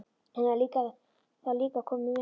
Hann hefði þá líka komið með þeim.